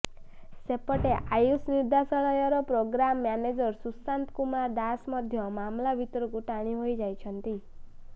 ସେପଟେ ଆୟୁଷ ନିର୍ଦେଶାଳୟର programme manager Sushanta Kumar Das ମଧ୍ୟ ମାମଲା ଭିତରକୁ ଟାଣି ହୋଇଛନ୍ତି